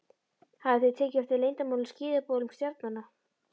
Hafið þið tekið eftir leyndum skilaboðum stjarnanna?